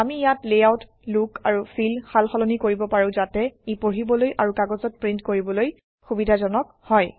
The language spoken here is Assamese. আমি ইয়াত লেআউট লুক আৰু ফিল সালসলনি কৰিব পাৰোঁ যাতে ই পঢ়িবলৈ আৰু কাগজত প্ৰিণ্ট কৰিবলৈ সুবিধাজনক হয়